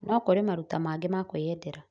No kũrĩ maruta mangĩ ma kwiyendera